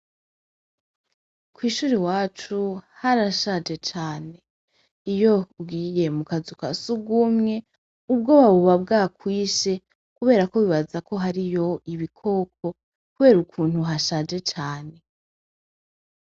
Kw'ishure iwacu harashaje cane, iyo ugiye mu kazu ka sugumwe ubwoba buba bwakwishe kubera ko wibaza ko hoba hariyo ibikoko kubera ukuntu hashaje cane.